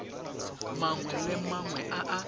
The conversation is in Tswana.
mangwe le mangwe a a